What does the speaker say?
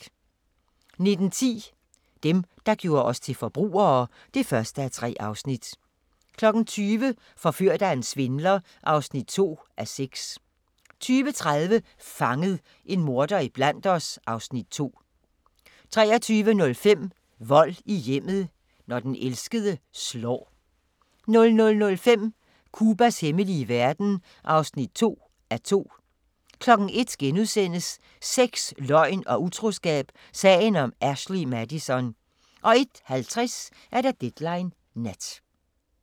19:10: Dem, der gjorde os til forbrugere (1:3) 20:00: Forført af en svindler (2:6) 20:30: Fanget – en morder iblandt os (Afs. 2) 23:05: Vold i hjemmet – når den elskede slår 00:05: Cubas hemmelige verden (2:2) 01:00: Sex, løgn og utroskab – sagen om Ashley Madison * 01:50: Deadline Nat